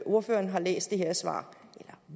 ordføreren har læst det her svar og